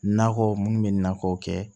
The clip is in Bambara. Nakɔ munnu bɛ nakɔ kɛ